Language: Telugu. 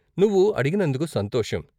నువ్వు అడిగినందుకు సంతోషం.